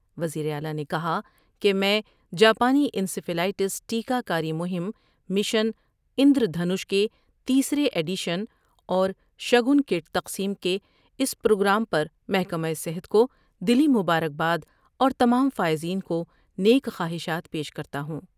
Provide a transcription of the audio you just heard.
وزیراعلی نے کہا کہ میں جاپانی ا نسیفلائٹس ٹیکہ کاری مہم مشن اندرونش کے تیسرے ایڈیشن اور شگن کٹ تقسیم کے اس پروگرام پر محکمہ صحت کو دلی مبارکباد اور تمام فائزین کو نیک خواہشات پیش کرتا ہوں ۔